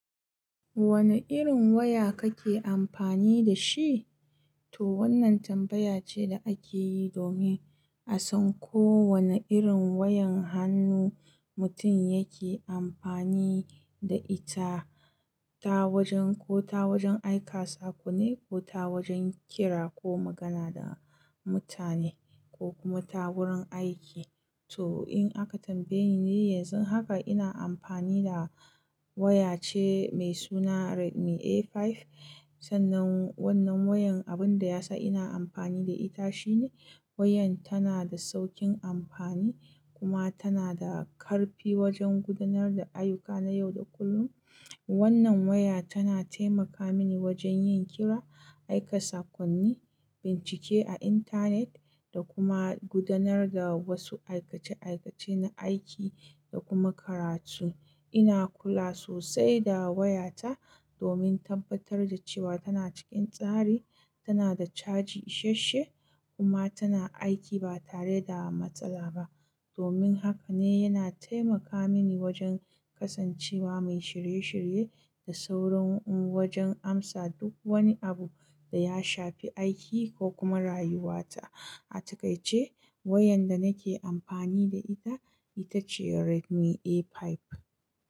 Wane irin waya kake amfani da shi? To wannan tambaya ce da akeyi domin a san ko wane irin wayan hannu mutum yake amfani da ita, ta wajen ko ta wajen aika sako ne ko ta wajen kira ko magana da mutane ko kuma ta wurin aiki. To in aka tambaye ni, yanzu haka ina amfani da waya ce mai suna Redmi A5. Sannan wannan wayan abun da yasa ina amfani da ita shine wayan tana da saukin amfani kuma tana da karfi wajen gudanar da ayuka na yau da kullum. Wannan waya tana taimaka mini wajen yin kira, aika sakonni, bincike a internet da kuma gudanar da wasu aikace aikace na aiki da kuma karatu. Ina kula sosai da waya ta domin tabbatar da cewa tana cikin tsari, tana da caji ishashe kuma tana aiki ba tare da matsala ba. Domin haka ne yana taimaka mini wajen kasancewa mai shirye shirye da saurin wajen amsa duk wani abu da ya shafi aiki ko kuma rayuwata. A ta kai ce wayan da nake amfani da ita, ita ce Redmi A5.